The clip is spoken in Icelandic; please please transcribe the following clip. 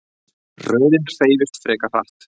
Röðin hreyfist frekar hratt.